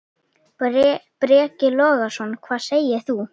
Breki Logason: Hvað segir þú?